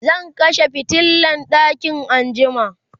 zan kashe fitilan ɗakin anjima